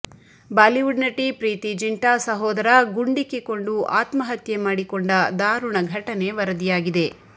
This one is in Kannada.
ಬಾಲಿವುಡ್ ನಟಿ ಪ್ರೀತಿ ಜಿಂಟಾ ಸಹೋದರ ಗುಂಡಿಕ್ಕಿಕೊಂಡು ಆತ್ಮಹತ್ಯೆ ಮಾಡಿಕೊಂಡ ದಾರುಣ ಘಟನೆ ವರದಿಯಾಗಿದೆ